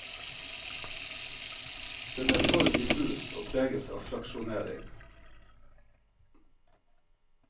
Den er for diffus og preges av fraksjonering.